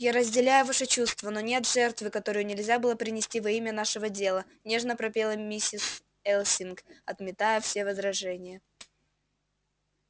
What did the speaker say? я разделяю ваши чувства но нет жертвы которую нельзя было бы принести во имя нашего дела нежно пропела миссис элсинг отметая все возражения